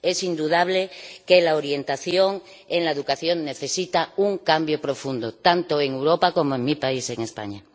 Es indudable que la orientación en la educación necesita un cambio profundo, tanto en Europa como en mi país, en España.